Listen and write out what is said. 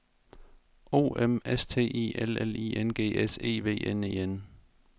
O M S T I L L I N G S E V N E N